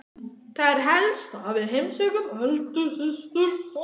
Það er helst að við heimsækjum Öldu systur og